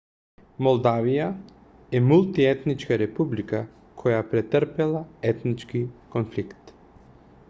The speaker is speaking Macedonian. молдавија е мултиетничка република која претрпела етнички конфликт